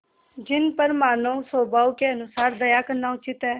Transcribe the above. जिन पर मानवस्वभाव के अनुसार दया करना उचित है